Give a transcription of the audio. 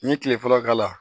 N ye kile fɔlɔ k'a la